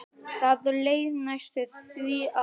Það leið næstum því ár.